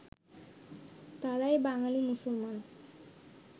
তাঁরাই বাঙালী মুসলমান